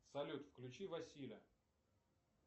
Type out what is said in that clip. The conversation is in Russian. салют включи василя